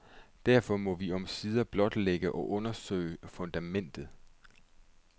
Derfor må vi omsider blotlægge og undersøge fundamentet.